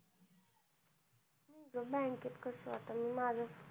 ते bank त कसं आता मी माझं,